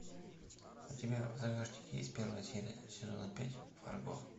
у тебя в загашнике есть первая серия сезона пять фарго